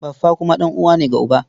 Baffa kuma ɗan'uwa ne ga uba.